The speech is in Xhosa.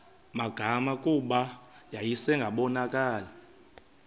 magama kuba yayingasabonakali